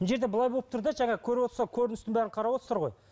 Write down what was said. мына жерде былай болып тұр да жаңа көріп отырсыздар көріністің бәрін қарап отырсыздар ғой